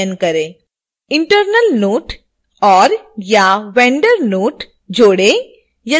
internal note और/या vendor note जोड़ें यदि कोई है तो